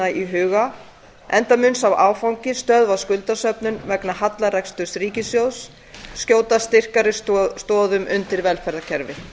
í huga enda mun sá áfangi að stöðva skuldasöfnun vegna hallareksturs ríkissjóðs skjóta styrkari stoðum undir velferðarkerfið